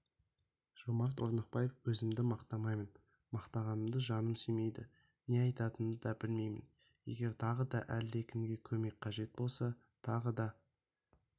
жомарт орнықбаев өзімді мақтамаймын мақтанғанды жаным сүймейді не айтатынымды да білмеймін егер тағы да әлде кімге көмек қажет болса тағы да